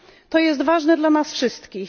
To jest ważne dla nas wszystkich.